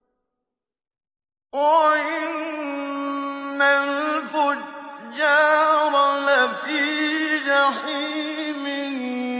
وَإِنَّ الْفُجَّارَ لَفِي جَحِيمٍ